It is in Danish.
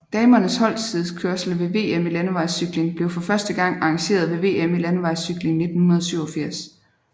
Damernes holdtidskørsel ved VM i landevejscykling blev for første gang arrangeret ved VM i landevejscykling 1987